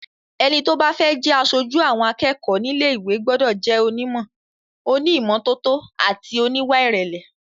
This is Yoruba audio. Ẹni tó bá fẹ́ jẹ aṣojú àwọn akẹ́kọ̀ọ́ nílé ìwé gbọ́dọ̀ jẹ́ onímọ̀, oní ìmọ́tótó àti oníwà ìrẹ̀lẹ̀.